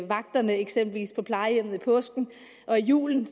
vagterne eksempelvis på plejehjemmet i påsken og i julen